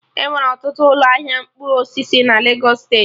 Enwere ọtụtụ ụlọ ahịa mkpụrụ osisi na Legos steeti